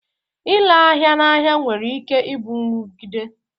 Ịre ahịa n'ahịa nwere ike ịbụ nrụgide